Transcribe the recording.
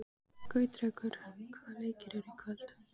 Gautrekur, hvaða leikir eru í kvöld?